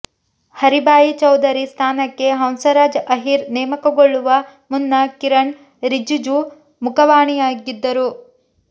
ಹರಿಭಾಯಿ ಚೌಧರಿ ಸ್ಥಾನಕ್ಕೆ ಹಂಸರಾಜ್ ಆಹಿರ್ ನೇಮಕಗೊಳ್ಳುವ ಮುನ್ನ ಕಿರಣ್ ರಿಜಿಜು ಮುಖವಾಣಿಯಾಗಿದ್ದರು